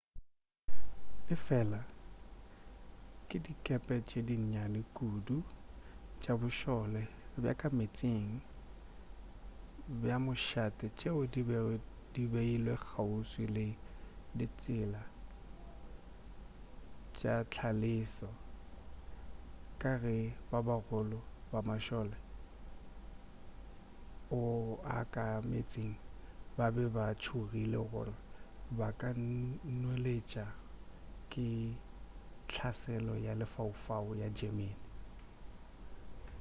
efela ke dikepe tše di nnyane kudu tša bošole bja ka meetseng bja mošate tšeo di bego di beilwe kgauswi le ditsela tša hlaselo ka ge ba bagolo ba mašole ao a ka meetseng ba be ba tšhogile gore ba ka nweletšwa ke hlaselo ya lefaufau ya germany